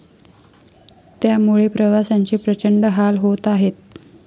त्यामुळेप्रवाशांचे प्रचंड हाल होत आहेत.